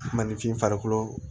Maninfin farikolo